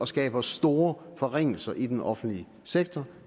skaber store forringelser i den offentlige sektor